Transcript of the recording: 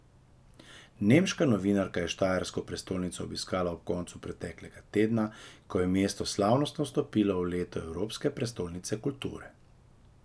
Nemška novinarka je štajersko prestolnico obiskala ob koncu preteklega tedna, ko je mesto slavnostno vstopilo v leto Evropske prestolnice kulture.